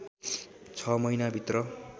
छ महिनाभित्र